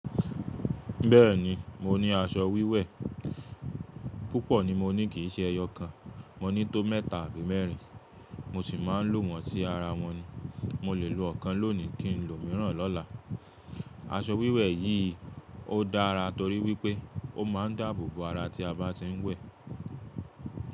Bẹ́ẹ̀ni, mo ní aṣọ wíwẹ̀. Púpọ̀ ni mo ní kìí ṣe ẹyọ kan. Mo ní tó mẹ́ta àbí mẹ́rin mo sì máa ń lò wọ̀n sí ara wọn ni. Mo lè lo ọ̀kan lónìí, kí n lòmìíràn lọ́la. Aṣọ wíwẹ̀ yìí ó dára torí wípé ó máa ń dáàbò bo ara tí a bá ti ń wẹ̀.